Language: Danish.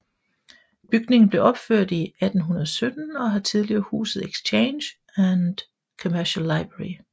Bygningen blev opført i 1817 og har tidligere huset Exchange and Commercial Library